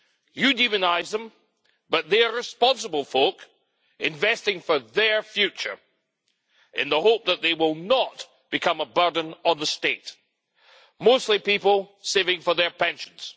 You demonise them, but they are responsible folk investing for their future in the hope that they will not become a burden on the state mostly people saving for their pensions.